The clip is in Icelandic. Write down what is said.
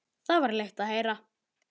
Það var leitt að heyra.